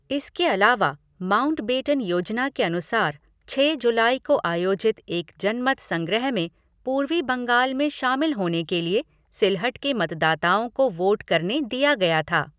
इसके अलावा माउंटबेटन योजना के अनुसार, छः जुलाई को आयोजित एक जनमत संग्रह में पूर्वी बंगाल में शामिल होने के लिए सिलहट के मतदाताओं को वोट करने दिया गया था।